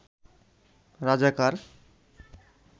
রাজাকার